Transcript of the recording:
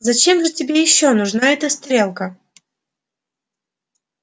зачем же тебе ещё нужна эта стрелка